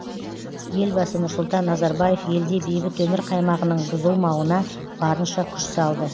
елбасы нұрсұлтан назарбаев елде бейбіт өмір қаймағының бұзылмауына барынша күш салды